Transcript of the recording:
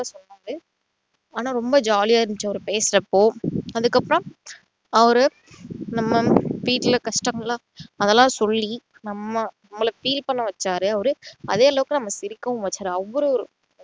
சொன்னாரு ஆனா ரொம்ப jolly ஆ இருந்திச்சு அவரு பேசுறப்போ அதுக்கப்புறம் அவரு நம்ம வீட்டுல கஷ்டளெல்லாம் அதெல்லாம் சொல்லி நம்ம நம்மள feel பண்ண வச்சாரு அவரு அதே அளவுக்கு நம்மள சிரிக்கவும் வச்சாரு அவ்வளவு